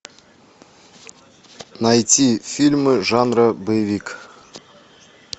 найти фильмы жанра боевик